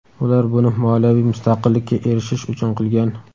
ular buni moliyaviy mustaqillikka erishish uchun qilgan.